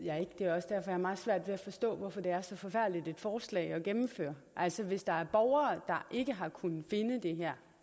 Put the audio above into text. at forstå hvorfor det er så forfærdeligt et forslag at gennemføre altså hvis der er borgere der ikke har kunnet finde de her